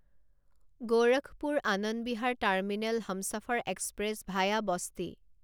Gorakhpur Anand Vihar terminal Humsafar express via Basti